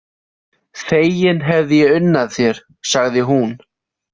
Fegin hefði ég unnað þér, sagði hún.